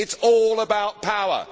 It is all about power.